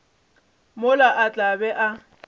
mola a tla be a